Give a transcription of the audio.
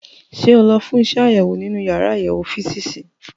Ṣé o lọ fún iṣẹ́ àṣewò nínú yàrá àyẹ̀wò físììsì?